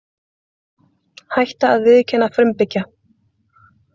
Hætta að viðurkenna frumbyggja